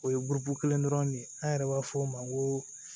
O ye kelen dɔrɔn de ye an yɛrɛ b'a fɔ o ma ko